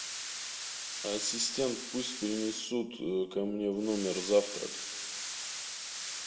ассистент пусть принесут ко мне в номер завтрак